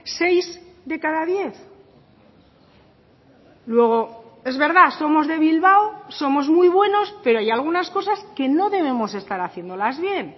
seis de cada diez luego es verdad somos de bilbao somos muy buenos pero hay algunas cosas que no debemos estar haciéndolas bien